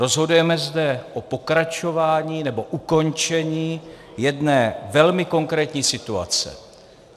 Rozhodujeme zde o pokračování nebo ukončení jedné velmi konkrétní situace.